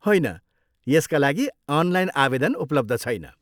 होइन, यसका लागि अनलाइन आवेदन उपलब्ध छैन।